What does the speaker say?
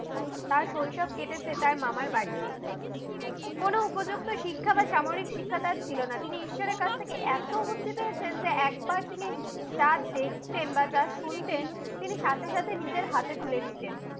তার শৈশব কেটেছে তার মামার বাড়িতে। কোন উপযুক্ত শিক্ষা তার ছিলনা। তিনি ঈশ্বরের কাছে থেকে এত বুদ্ধি পেয়েছেন যে, একবার তিনি যা দেখতেন বা যা শুনতেন তিনি সাথে সাথে নিজের হাতে তুলে নিতেন।